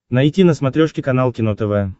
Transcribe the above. найти на смотрешке канал кино тв